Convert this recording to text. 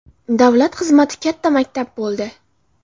Davlat xizmati katta maktab bo‘ldi.